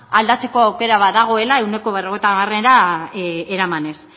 aldatzeko aukera badagoela ehuneko berrogeita hamarera eramanez